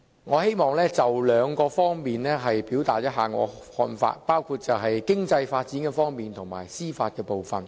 我希望就兩方面表達我的看法，包括經濟發展和司法部分。